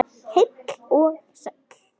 Heill og sæll!